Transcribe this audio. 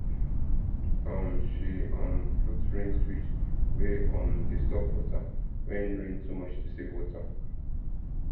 um she um put rain switch wey um dey stop water when rain too much to save water